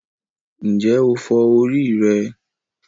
Ǹjẹ́ o fọ orí rẹ?